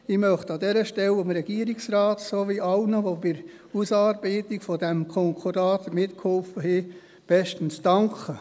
Ich möchte an dieser Stelle dem Regierungsrat sowie allen, die bei der Ausarbeitung dieses Konkordates mitgeholfen haben, bestens danken.